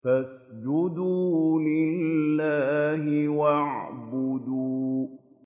فَاسْجُدُوا لِلَّهِ وَاعْبُدُوا ۩